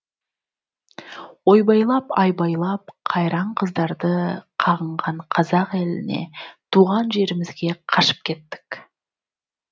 ойбайлап айбайлап қайран қыздары қағынған қазақ еліне туған жерімізге қашып кеттік